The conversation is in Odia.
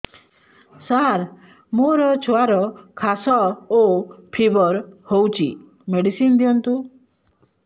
ସାର ମୋର ଛୁଆର ଖାସ ଓ ଫିବର ହଉଚି ମେଡିସିନ ଦିଅନ୍ତୁ